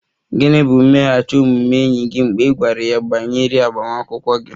Gịnị bụ mmeghachi omume enyi gị mgbe ị gwara ya banyere agbamakwụkwọ gị?